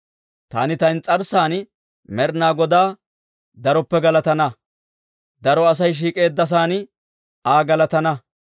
Taani ta ins's'arssan Med'inaa Godaa daroppe galatana; daro Asay shiik'eeddasaan Aa galatana.